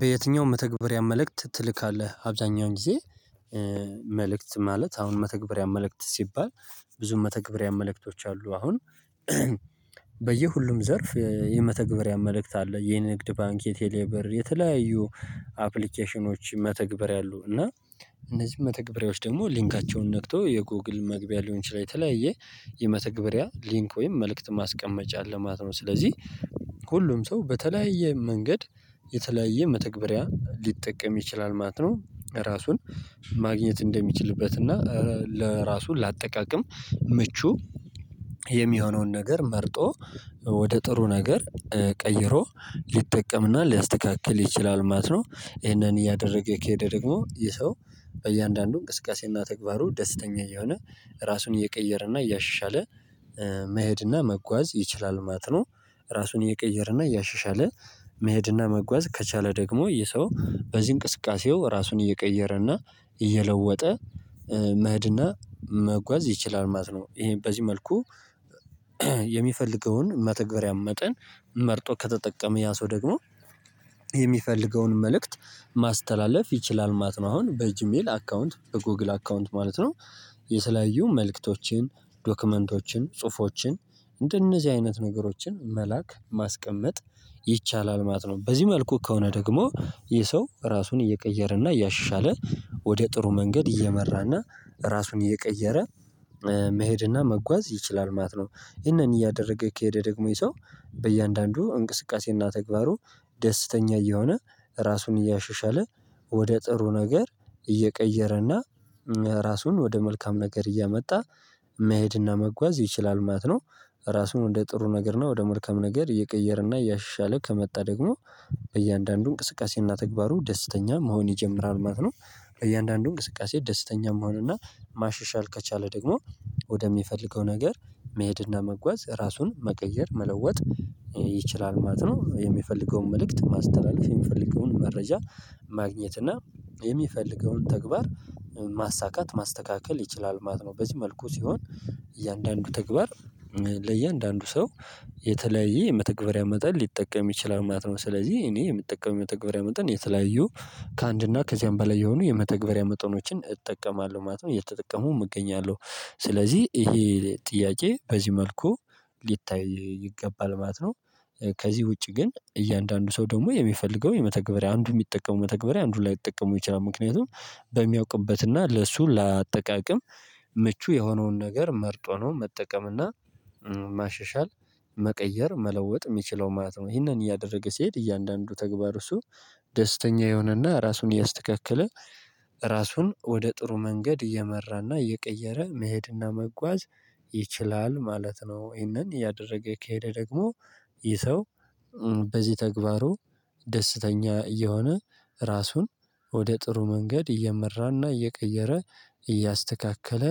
በየትኛውም መተግበሪያ መልእክት ትልካለህ አብዛኛውን ጊዜ መልእክት ማለት አሁን መተግበሪያ መልእክት ሲባል ብዙ መተግበሪያ መልእክቶች አሉ። አሁን በየሁሉም ዘርፍ የመተግበሪያ መልእክት አለ የንግድ ባንክ የቴሌብር የተለያዩ አፕሊኬሽኖች መተግበር ያሉ እና እነዚህን መተግበሪያዎች ደግሞ ሊንካቸውን ነክቶ የጎግል መግቢያ ሊንክ ሊሆን ይችላል የተለያየ የመተግበሪያ ሊንክ ወይም መልእክት ማስቀመጫ አለማለት ነው። ስለዚህ ሁሉም ሰው በተለያየ መንገድ የተለያየ መተግበሪያ ሊጠቀም ይችላል ማለት ነው። ራሱን ማግኘት እንደሚችልበት እና ለራሱ ለአጠቃቀም ምቹ የሚሆነውን ነገር መርጦ ወደ ጥሩ ነገር ቀይሮ ሊጠቀምና ሊያስተካክል ይችላል ማለት ነው። ይሄንን እያደረገ የኬደ ደግሞ ይሄ ሰው በእያንዳንዱ እንቅስቃሴና ተግባሩ ደስተኛ የሆነ ራሱን እየቀየረና እያሻሻለ መሄድና መጓዝ ይችላል ማለት ነው። ራሱን እየቀየረ እና እያሻሻለ መሄድና መጓዝ ከቻለ ደግሞ የሰው በዚህ እንቅስቃሴው ራሱን እየቀየረ እና እየለወጠ መሀድ እና መጓዝ ይችላል ማለት ነው። ይሄ በዚህ መልኩ የሚፈልገውን መተግበሪያ መጠን መርጦ ከተጠቀመ ያ ሰው ደግሞ የሚፈልገውን መልእክት ማስተላለፍ ይችላል ማለት አሁን በእጅሜል አካውንት በጎግል አካውንት ማለት ነው። የተለየዩ መልእክቶችን ዶክመንቶችን ጽሁፎችን እንደነዚህ አይነት ነገሮችን መላክ ማስቀመጥ ይቻላል። ማጥኖ በዚህ መልኩ ከሆነ ደግሞ ይህ ሰው ራሱን እየቀየረ እና እያሻለ ወደ ጥሩ መንገድ እየመራ እና ራሱን እየቀየረ መሄድና መጓዝ ይችላል ማለት ነው። ይህንን እያደረገ ከሄደ ደግሞ ይሄ ሰው በእያንዳንዱ እንቅስቃሴና ተግባሩ ደስተኛ እየሆነ ራሱን እያሻሻለ ወደ ጥሩ ነገር እየቀየረና ራሱን ወደ መልካም ነገር እያመጣ መሄድና መጓዝ ይችላል ማት ነው። ራሱን እንደ ጥሩ ነገር ነው ወደ መልካም ነገር እየቀየረ እና እያሻሻለ ከመጣ ደግሞ በእያንዳንዱ እንቅስቃሴና ተግባሩ ደስተኛ መሆን ይጀምራል ማለት ነው። እያንዳንዱ እንቅስቃሴ ደስተኛ መሆንና ማሻሻል ከቻለ ደግሞ ወደሚፈልገው ነገር መሄድና መጓዝ ራሱን መቀየር መለወጥ ይችላል ማለት ነው። የሚፈልገውን መልእክት ማስተላለፍ የሚፈልገውን መረጃ ማግኘት እና የሚፈልገውን ተግባር ማሳካት ማስተካከል ይችላል ማለት ነው። በዚህ መልኩ ሲሆን እያንዳንዱ ተግባር ለእያንዳንዱ ሰው የተለያየ የመተግበሪያ መጠን ሊጠቀም ይችላል ማለት ነው። ስለዚህ እኔ የምጠቀመው የመተግበሪያ መጠን የተለያዩ ከአንድና ከዚያም በላይ የሆኑ የመተግበሪያ መጠኖችን እጠቀማለሁ ማለት ነው። እየተጠቀሙ እገኛለሁ ስለዚህ ይሄ ጥያቄ በዚህ መልኩ ሊታይ ይገባል ማለት ነው። ከዚህ ውጪ ግን እያንዳንዱ ሰው ደግሞ የሚፈልገው የመተግበሪያ አንዱ የሚጠቀሙ መተግበሪያ አንዱ ላይጠቀመው ይችላል። ምክንያቱም በሚያውቅበትና ለእሱ ለአጠቃቀም ምቹ የሆነውን ነገር መርጦ ነው መጠቀምና ማሸሻል መቀየር መለወጥ የሚችለው ማለት ነው። ይሄንን እያደረገ ሲሄድ እያንዳንዱ ተግባር እሱ ደስተኛ የሆነና ራሱን ያስተካክለ ራሱን ወደ ጥሩ መንገድ እየመራና እየቀየረ መሄድና መጓዝ ይችላል ማለት ነው። ይህንን ያደረገ ከሄደ ደግሞ ይህ ሰው በዚህ ተግባሩ ደስተኛ እየሆነ ራሱን ወደ ጥሩ መንገድ እየመራና እየቀየረ እያስተካከለ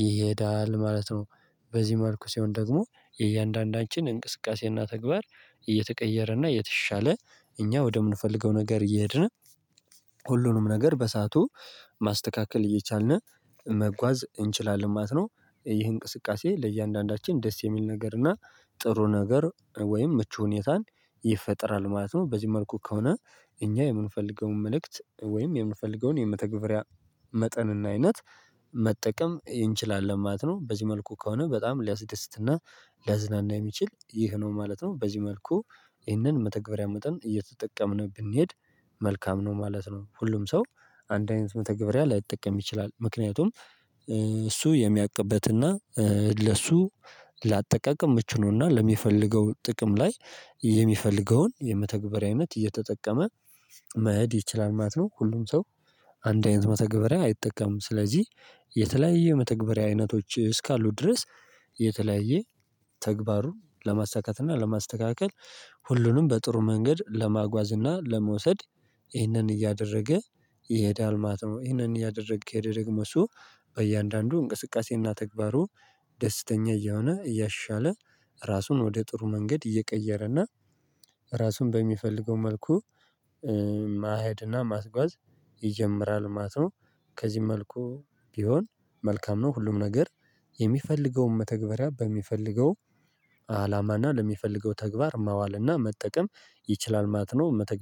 ይሄዳል ማለት ነው። በዚህ መልኩ ሲሆን ደግሞ የእያንዳንዳችን እንቅስቃሴና ተግባር እየተቀየረና እየተሻለ እኛ ወደምንፈልገው ነገር እየሄድነ ሁሉንም ነገር በሳቱ ማስተካከል እየቻልን መጓዝ እንችላለን ማለት ነው። ይህ እንቅስቃሴ ለእያንዳንዳችን ደስ የሚል ነገር እና ጥሩ ነገር ወይም ምቹ ሁኔታን ይፈጠራል ማለት ነው። በዚህ መልኩ ከሆነ እኛ የምንፈልገውን መልእክት ወይም የምንፈልገውን የመተግበሪያ መጠን እና አይነት መጠቀም እንችላለን ማለት ነው። በዚህ መልኩ ከሆነ በጣም ሊያስደስትና ሊያዝናና ላዝናና የሚችል ይህ ነው ማለት ነው። በዚህ መልኩ ይህንን መተግበሪያ መጠን እየተጠቀምን ብንሄድ መልካም ነው ማለት ነው። ሁሉም ሰው አንድ አይነት መተግበሪያ ላይጠቀም ይችላል ምክንያቱም እሱ የሚያቅበት እና ለሱ ላጠቃቅም ምቹ ነውና ለሚፈልገው ጥቅም ላይ የሚፈልገውን የመተግበሪያ አይነት እየተጠቀመ መሄድ ይችላል ማለት ነው። ሁሉም ሰው አንድ አይነት መተግበሪያ አይጠቀምም ስለዚህ የተለያየ መተግበሪያ አይነቶች እስካሉ ድረስ። የተለያየ ተግባርን ለማሰሳካት እና ለማስተካከል ሁሉንም በጥሩ መንገድ ለማጓዝ እና ለመውሰድ ይህንን እያደረገ የሄዳል። ማለት ይህንን እያደረገ ከሄደ ደግሞ እሱ በእያንዳንዱ እንቅስቃሴ እና ተግባሩ ደስተኛ እያሆነ እያሻለ ራሱን ወደ ጥሩ መንገድ እየቀየረ እና ራሱን በሚፈልገው መልኩ ማህድና ማስጓዝ ይጀምራል ማለት ነው። ከዚህ መልኩ ቢሆን መልካም ነው። ሁሉም ነገር የሚፈልገውን መተግበሪያ በሚፈልገው አላማ እና ለሚፈልገው ተግባር ማዋል እና መጠቀም ይችላል ማለት ነው።